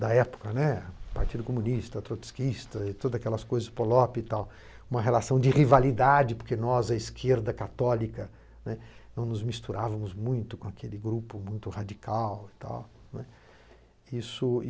da época, né, Partido Comunista, Trotskista e todas aquelas coisas, Polop, uma relação de rivalidade, porque nós, a esquerda católica, né, não nos misturávamos muito com aquele grupo muito radical, né. Isso